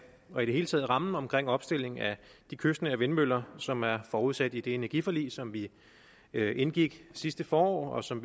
og i det hele taget rammen om opstillingen af de kystnære vindmøller som er forudsat i det energiforlig som vi vi indgik sidste forår og som